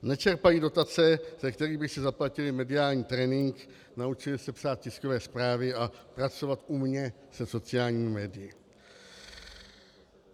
Nečerpají dotace, ze kterých by si zaplatili mediální trénink, naučili se psát tiskové zprávy a pracovat umně se sociálními médii.